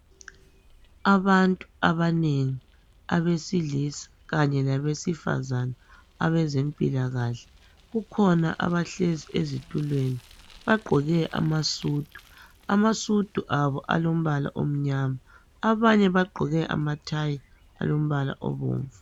Abantu abanengi abesilisa kanye labesifazana abezempilakahle kukhona abahlezi ezitulweni bagqoke amasudu. Amasudu abo alombala omnyama abanye bagqoke amathayi alombala obomvu.